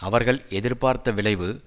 அவர்கள் எதிர்பார்த்த விளைவு